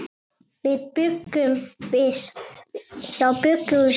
Þá bjuggum við saman.